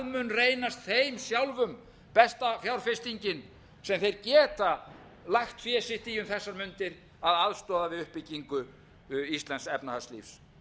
mun reynast þeim sjálfum besta fjárfestingin sem þeir geta lagt fé sitt í um þessar mundir að aðstoða við uppbyggingu íslensks efnahagslífs